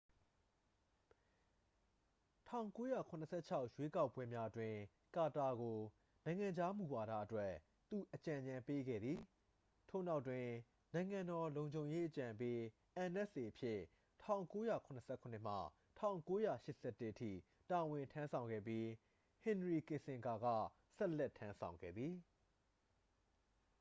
၁၉၇၆ ရွေးကောက်ပွဲများအတွင်း ကာတာကို နိုင်ငံခြားမူဝါဒအတွက် သူအကြံဉာဏ်ပေးခဲ့သည်၊ ထို့နောက်တွင် နိုင်ငံတော်လုံခြုံရေးအကြံပေး nsa အဖြစ် ၁၉၇၇မှ ၁၉၈၁အထိ တာဝန်ထမ်းဆောင်ခဲ့ပြီး ဟင်နရီကစ်ဆင်ဂါက ဆက်လက်ထမ်းဆောင်ခဲ့သည်။